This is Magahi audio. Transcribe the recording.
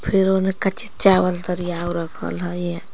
फिर ओमे कच्ची चावल तरियाव रखल हई या--